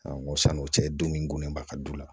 san'o cɛ don min gulolen ba ka du la